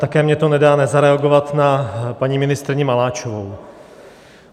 Také mi to nedá nezareagovat na paní ministryni Maláčovou.